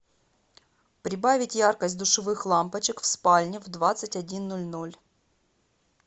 прибавить яркость душевых лампочек в спальне в двадцать один ноль ноль